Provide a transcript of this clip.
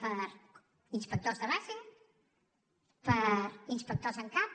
per a inspectors de base per a inspectors en cap